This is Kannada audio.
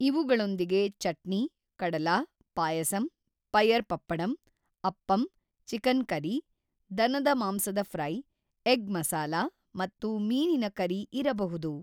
ಇವುಗಳೊಂದಿಗೆ ಚಟ್ನಿ, ಕಡಲಾ, ಪಾಯಸಂ, ಪಯರ್ ಪಪ್ಪಡಂ, ಅಪ್ಪಮ್, ಚಿಕನ್ ಕರಿ, ದನದ ಮಾಂಸದ ಫ್ರೈ, ಎಗ್ ಮಸಾಲಾ ಮತ್ತು ಮೀನಿನ ಕರಿ ಇರಬಹುದು.